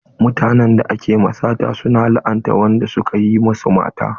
Mutanen da ake ma sata su na la'anta wanda suka yi masu mata.